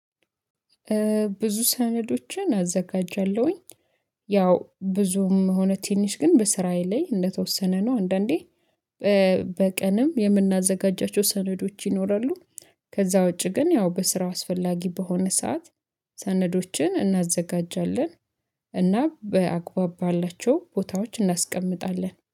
ብዙ ሰነዶችን አዘጋጃለሁኝ ያው ብዙም ሆነ ትንሽ ግን በስራየ ላይ እንደተወሰነ ነው። አንዳንዴ በቀንም የምናዘጋጃቸው ሰነዶች ይኖራሉ። ከዛ ውጪ ግን ያው በስራው አስፈላጊ በሆነ ሰዓት ሰነዶችን እናዘጋጃለን። እና በአግባብ ባላቸው ቦታዎች እናስቀምጣለን